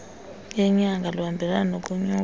yenyanga luhambelane nokunyuka